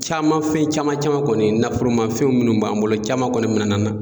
Caman fen caman caman kɔni nafolomafɛnw minnu b'an bolo caman kɔni mina n'an na.